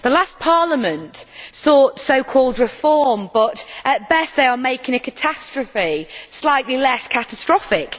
The last Parliament sought so called reform but, at best, they are making a catastrophe slightly less catastrophic.